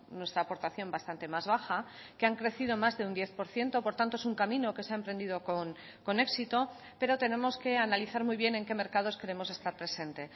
nuestra aportación bastante más baja que han crecido más de un diez por ciento por tanto es un camino que se ha emprendido con éxito pero tenemos que analizar muy bien en qué mercados queremos estar presente